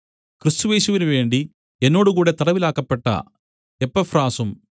ക്രിസ്തുയേശുവിനുവേണ്ടി എന്നോട് കൂടെ തടവിലാക്കപ്പെട്ട എപ്പഫ്രാസും